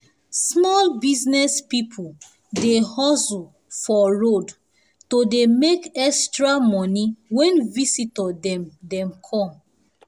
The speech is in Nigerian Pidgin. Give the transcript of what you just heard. small business people dey hustle for road to dey make extra money when visitors dem dem come.